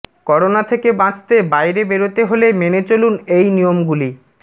corona থেকে বাঁচতে বাইরে বেরতে হলে মেনে চলুন এই নিয়মগুলি